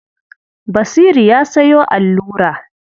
Basiru ya sayo allura.